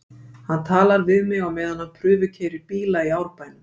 Hann talar við mig á meðan hann prufukeyrir bíla í Árbænum.